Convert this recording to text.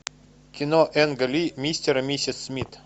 кино энга ли мистер и миссис смит